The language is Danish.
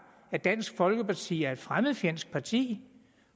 at dansk folkeparti er et fremmedfjendsk parti